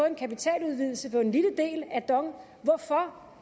en kapitaludvidelse på en lille del af dong hvorfor